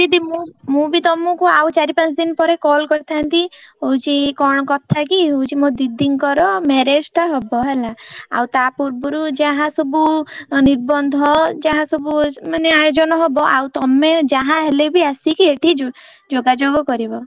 ନାଇଁ ଦିଦି ମୁ ବି ତଆମକୁ ଆଉ ଚାରି ପାଞ୍ଚଦିନ ପରେ call କରିଥାନ୍ତି ହଉଛି କଣ କଥା କି ହଉଛି ମୋ ଦିଦିଙ୍କର marriage ଟା ହବ ହେଲା ଆଉ ତା ପୂର୍ବରୁ ଯାହା ସବୁ ନିର୍ବନ୍ଧ ଯାହା ସବୁ ମାନେ ଆୟୋଜନ ହବ ଆଉ ତମେ ଯାହାହେଲେବି ଆସିକି ଏଠି ଯୋଗାଯୋଗ କରିବ।